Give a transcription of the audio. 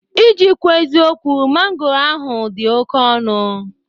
Iji kwuo eziokwụ, mangoro ahụ dị oke ọnụ